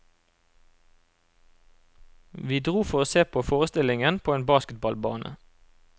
Vi dro for å se på forestillingen på en basketballbane.